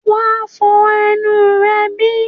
wà á fọ ẹnu rẹ bí?